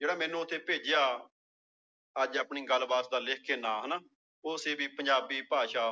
ਜਿਹੜਾ ਮੈਨੂੰ ਉੱਥੇ ਭੇਜਿਆ ਅੱਜ ਆਪਣੀ ਗੱਲਬਾਤ ਦਾ ਲਿਖ ਕੇ ਨਾਂ ਹਨਾ ਉਹ ਸੀ ਵੀ ਪੰਜਾਬੀ ਭਾਸ਼ਾ